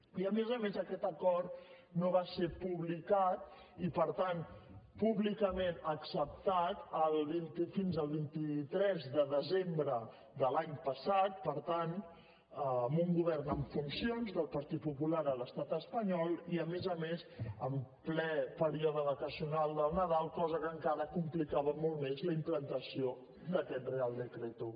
i a més a més aquest acord no va ser publicat i per tant públicament acceptat fins el vint tres de desembre de l’any passat per tant amb un govern en funcions del partit popular a l’estat espanyol i a més a més en ple període vacacional del nadal cosa que encara complicava molt més la implantació d’aquest real decreto